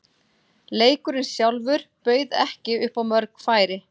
Leikurinn sjálfur bauð ekki upp á mörg færi.